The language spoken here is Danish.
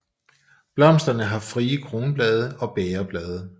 Blomsterne har frie kronblade og bægerblade